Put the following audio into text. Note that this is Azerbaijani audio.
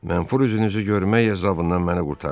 Mənfur üzünüzü görmək əzabından məni qurtarın.